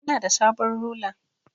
Ina da sabon rula.